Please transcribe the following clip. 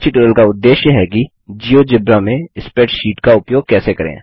इस ट्यूटोरियल का उद्देश्य है कि जियोजेब्रा में स्प्रैडशीट का उपयोग कैसे करें